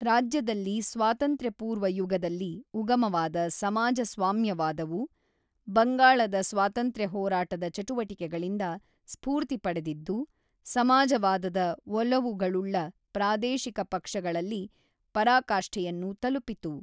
ರಾಜ್ಯದಲ್ಲಿ ಸ್ವಾತಂತ್ರ್ಯಪೂರ್ವ ಯುಗದಲ್ಲಿ ಉಗಮವಾದ ಸಮಾಜ ಸ್ವಾಮ್ಯವಾದವು ಬಂಗಾಳದ ಸ್ವಾತಂತ್ರ್ಯ ಹೋರಾಟದ ಚಟುವಟಿಕೆಗಳಿಂದ ಸ್ಫೂರ್ತಿ ಪಡೆದಿದ್ದು ಸಮಾಜವಾದದ ಒಲವುಗಳುಳ್ಳ ಪ್ರಾದೇಶಿಕ ಪಕ್ಷಗಳಲ್ಲಿ ಪರಾಕಾಷ್ಠೆಯನ್ನು ತಲುಪಿತು.